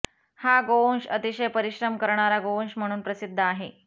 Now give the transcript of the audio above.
हा गोवंश अतिशय परिश्रम करणारा गोवंश म्हणून प्रसिद्ध आहे